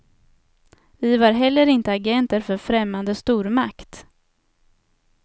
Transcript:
Vi var heller inte agenter för främmande stormakt.